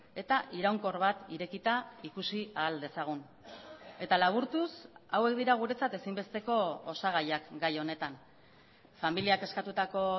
eta iraunkor bat irekita ikusi ahal dezagun eta laburtuz hauek dira guretzat ezinbesteko osagaiak gai honetan familiak eskatutako